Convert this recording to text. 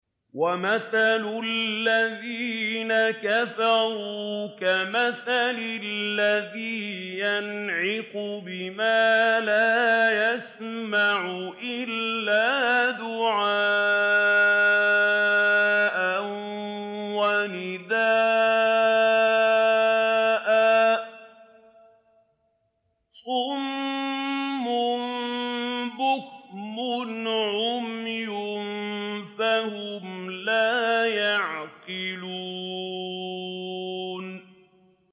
وَمَثَلُ الَّذِينَ كَفَرُوا كَمَثَلِ الَّذِي يَنْعِقُ بِمَا لَا يَسْمَعُ إِلَّا دُعَاءً وَنِدَاءً ۚ صُمٌّ بُكْمٌ عُمْيٌ فَهُمْ لَا يَعْقِلُونَ